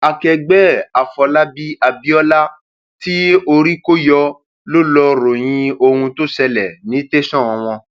akẹgbẹ ẹ àfọlábàbí abiola tí orí kọ yọ ló lọá ròyìn ohun tó ṣẹlẹ ní tẹsán wọn